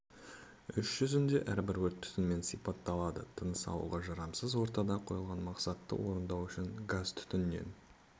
іс жүзінде әрбір өрт түтінмен сипатталады тыныс алуға жарамсыз ортада қойылған мақсатты орындау үшін газ-түтіннен